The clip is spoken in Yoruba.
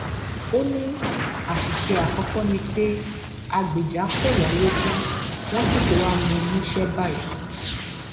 ó ní àṣìṣe àkọkọ ni pé á gbéjà kò wọn lójú wọn sì ti wàá mú un níṣẹ báyìí